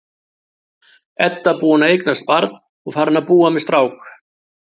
Edda búin að eignast barn og farin að búa með strák.